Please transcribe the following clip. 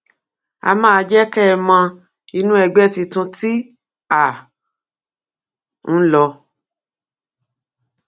á máa jẹ kẹ ẹ mọ inú ẹgbẹ tuntun tí à ń lò